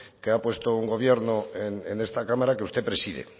que ha puesto un gobierno en esta cámara que usted preside